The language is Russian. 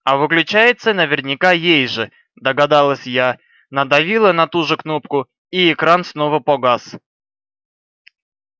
а выключается наверняка ей же догадалась я надавила на ту же кнопку и экран снова погас